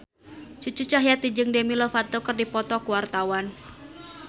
Cucu Cahyati jeung Demi Lovato keur dipoto ku wartawan